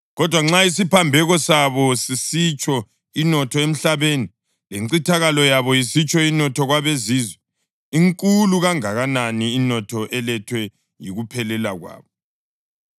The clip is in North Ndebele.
Kodwa nxa isiphambeko sabo sisitsho inotho emhlabeni, lencithakalo yabo isitsho inotho kwabeZizwe, inkulu kangakanani inotho elethwa yikuphelela kwabo!